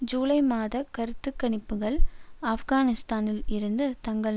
ஜூலை மாத கருத்து கணிப்புக்கள் ஆப்கானிஸ்தானில் இருந்து தங்கள்